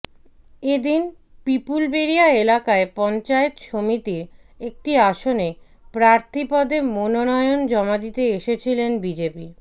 এদিন পিপুলবেড়িয়া এলাকায় পঞ্চায়েত সমিতির একটি আসনে প্রার্থীপদে মনোনয়ন জমা দিতে এসেছিলেন বিজেপি